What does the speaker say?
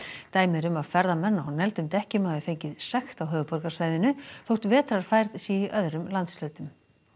dæmi eru um að ferðamenn á negldum dekkjum hafi fengið sekt á höfuðborgarsvæðinu þótt vetrarfærð sé í öðrum landshlutum